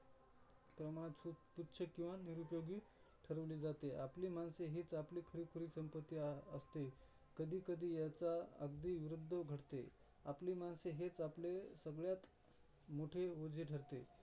प्रमाणात तुच्छ किंवा निरूपयोगी ठरवले जाते. आपली माणसे हेच आपले खरीखुरी संपत्ती असते. कधी कधी ह्याचा अगदी विरूध्द घडते. आपली माणसे हेच आपले सगळ्यात मोठे ओझे ठरते.